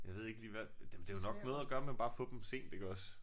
Jeg ved ikke lige hvad det jo det jo nok noget at gøre med bare at få dem sent iggås